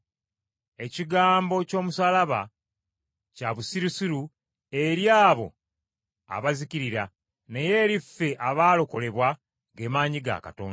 Ekigambo ky’omusaalaba kya busirusiru eri abo abazikirira naye eri ffe abaalokolebwa ge maanyi ga Katonda.